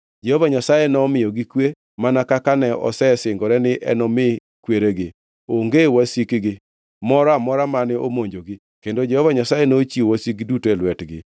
Jehova Nyasaye nomiyogi kwe, mana kaka ne osesingore ni enomi kweregi. Onge wasikgi moro amora mane omonjogi; kendo Jehova Nyasaye nochiwo wasikgi duto e lwetgi.